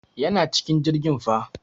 Yana cikin jirgin fa.